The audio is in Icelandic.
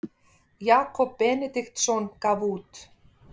jakob benediktsson gaf út